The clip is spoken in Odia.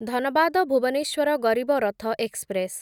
ଧନବାଦ ଭୁବନେଶ୍ୱର ଗରିବ ରଥ ଏକ୍ସପ୍ରେସ୍